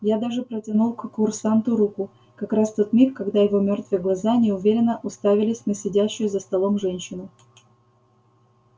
я даже протянул к курсанту руку как раз в тот миг когда его мёртвые глаза неуверенно уставились на сидящую за столом женщину